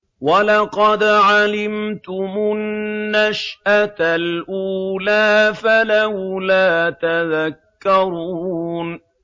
وَلَقَدْ عَلِمْتُمُ النَّشْأَةَ الْأُولَىٰ فَلَوْلَا تَذَكَّرُونَ